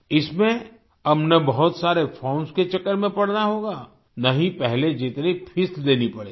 इसमें अब न बहुत सारे फॉर्म्स के चक्कर में पड़ना होगा न ही पहले जितनी फीस देनी पड़ेगी